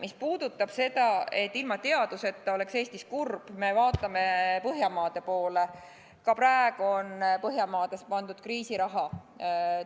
Mis puudutab seda, et ilma teaduseta oleks Eestis kurb, siis, kui me vaatame Põhjamaade poole, on Põhjamaades ka praegu pandud kriisiraha